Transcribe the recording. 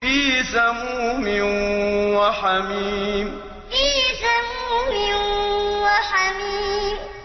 فِي سَمُومٍ وَحَمِيمٍ فِي سَمُومٍ وَحَمِيمٍ